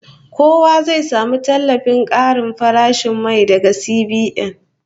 Kowa zai samu tallafin karin farashin mai daga CBN